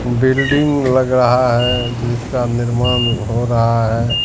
Building लग रहा है जिसका निर्माण हो रहा है।